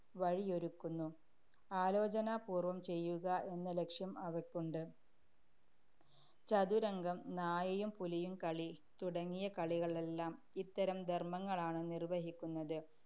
വഴിയൊരുക്കുന്നു. ആലോചനാപൂര്‍വം ചെയ്യുക എന്ന ലക്ഷ്യം അവയ്ക്കുണ്ട്. ചതുരംഗം, നായയും പുലിയും കളി തുടങ്ങിയ കളികളെല്ലാം ഇത്തരം ധര്‍മങ്ങളാണ് നിര്‍വഹിക്കുന്നത്.